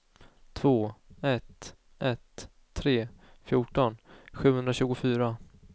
två ett ett tre fjorton sjuhundratjugofyra